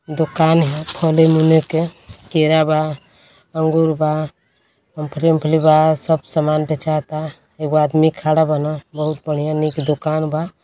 दुकान ह खने मुने के। केरा बा अंगूर बा मोमफली ओमफली बा। सब सामान बेचाता। एगो आदमी खड़ा बान। बहुत बढ़िया निक दुकान बा।